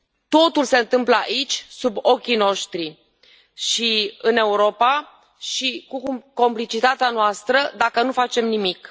Totul se întâmplă aici, sub ochii noștri și în Europa și cu complicitatea noastră, dacă nu facem nimic.